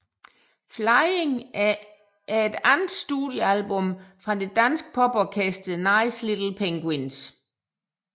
Flying er andet studiealbum fra det danske poporkester Nice Little Penguins